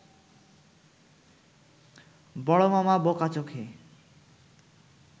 বড় মামা বোকা চোখে